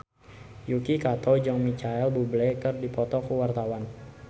Yuki Kato jeung Micheal Bubble keur dipoto ku wartawan